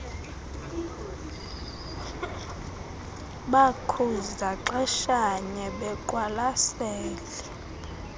bakhuza xeshanye beqwalasele